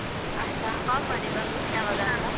ಆಯ್ತಾ call ಮಾಡಿ ಬಂದು ಯಾವಾಗ ಅಂತ.